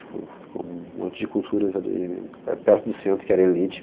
Ficou ficou um monte de culturas ali pe perto do centro, que era elite,